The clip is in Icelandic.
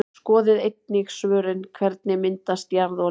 Skoðið einnig svörin: Hvernig myndast jarðolía?